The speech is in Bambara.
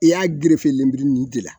I y'a gerefe lenburu ninnu de la